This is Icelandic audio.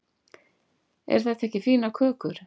eru þetta ekki fínar kökur